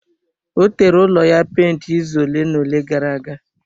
Ọ tere ụlọ ya penti izu ole na ole gara aga.